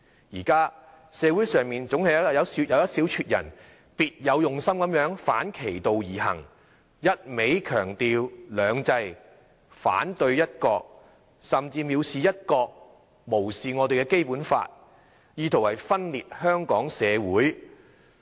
現在社會上總是有一小撮人別有用心地反其道而行，一味強調"兩制"，反對"一國"，甚至蔑視"一國"，無視《基本法》，意圖分裂香港社會。